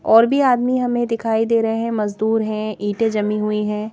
और भी आदमी हमें दिखाई दे रहे हैं मजदूर हैं ईंटें जमी हुई हैं ।